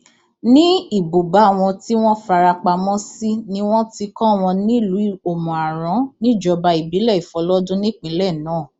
ní ibùba wọn tí wọn fara pamọ sí ni wọn ti kọ wọn nílùú òmùaran níjọba ìbílẹ ìfọlọdún nípìnlẹ náà